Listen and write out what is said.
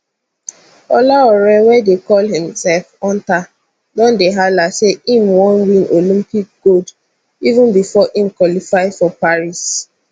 olaore wey dey call imself hunter don dey hala say im wan win olympic gold even bifor im qualify for paris